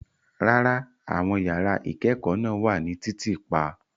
Rárá, àwọn yàrá ìkẹ́kọ̀ọ́ náà wà ní títì pa.